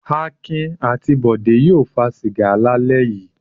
Akin àti Bọ̀dé yóò fa sìgá lálẹ́ yìí.